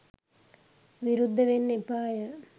විරුද්ධ වෙන්න එපාය.